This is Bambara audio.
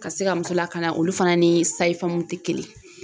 Ka se ka muso lakana olu fana ni sayi famuw te kelen ye